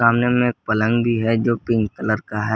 सामने मे पलंग भी है जो पिंक कलर का है।